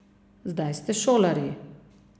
Zdaj ste šolarji.